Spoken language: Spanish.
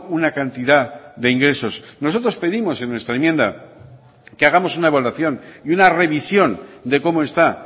una cantidad de ingresos nosotros pedimos en nuestra enmienda que hagamos una evaluación y una revisión de cómo está